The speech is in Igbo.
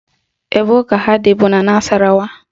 Ebe ụka ha dị bụ n'Nasarawa